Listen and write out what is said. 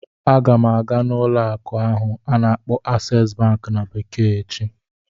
Aga m aga n'ụlọ akụ ahụ a na-akpọ "Access bank" na bekee echi